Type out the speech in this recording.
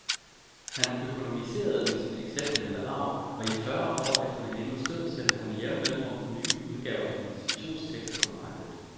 Han økonomiserede med sin exceptionelle arv, og i fyrre år efter venindens død sendte han med jævne mellemrum nye udgaver af hendes fiktionstekster på markedet.